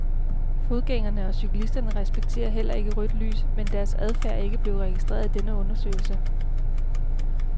Fodgængere og cyklister respekterer heller ikke rødt lys, men deres adfærd er ikke blevet registreret i denne undersøgelse.